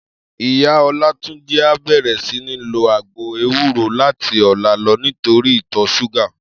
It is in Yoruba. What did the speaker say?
Iyá Olatunji á bèrè sini ló àgbó éwúró làti òlá lò nitóri itò ṣúgà